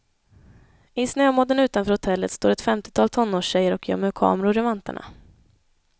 I snömodden utanför hotellet står ett femtiotal tonårstjejer och gömmer kameror i vantarna.